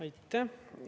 Aitäh!